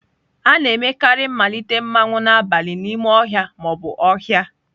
A na-emekarị mmalite mmanwu n'abalị n'ime ọhịa ma ọ bụ ọhịa.